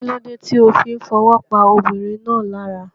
Kílódé ti o fí n fowó pa ọmọbìnrin náà lára